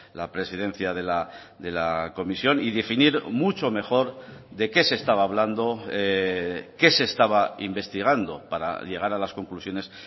la presidencia de la comisión y definir mucho mejor de qué se estaba hablando qué se estaba investigando para llegar a las conclusiones